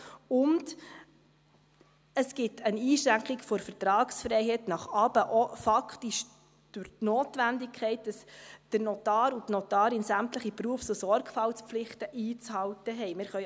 Und: Es gibt eine Einschränkung der Vertragsfreiheit nach unten, auch faktisch, durch die Notwendigkeit, dass der Notar und die Notarin sämtliche Berufs- und Sorgfaltspflichten einzuhalten haben.